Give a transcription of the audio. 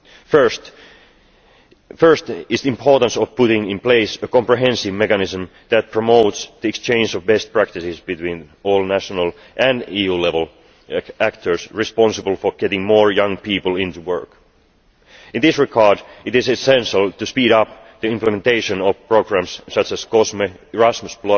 First is the importance of putting in place a comprehensive mechanism that promotes the exchange of best practices between all national and EU level actors responsible for getting more young people into work. In this regard, it is essential to speed up the implementation of programmes such as COSME, Erasmus